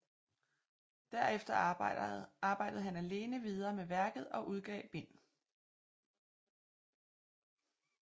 Derefter arbejde han alene videre med værket og udgav bd